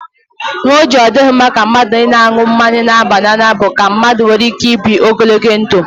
Ihe o ji ọ dịghị mma ịṅụ mmanya na-aba n'anya bụ ka mmadụ nwee ike ibi ogologo ndụ.